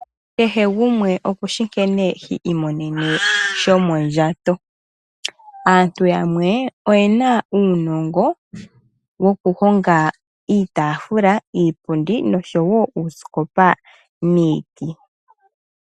Kehe gumwe okushi nkene hi imonene shomondjato. Aantu aantu yamwe oyena uunongo woku honga iitafula, iipundi oshowo uuskopa miiti.